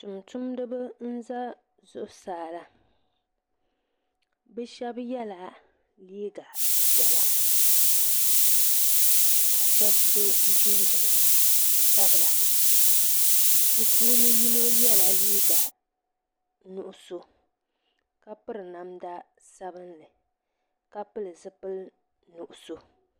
Tum tumdiba n za zuɣusaa la bo shɛba yɛla liiga piɛla ka shɛba so jinjam sabila bi puuni yino yɛla liiga nuɣusu ka piri namda sabinli ka pili zipili nuɣusu.